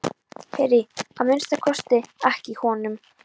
Heyri að minnsta kosti ekki í honum.